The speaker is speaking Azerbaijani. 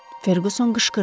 Ferquson qışqırdı.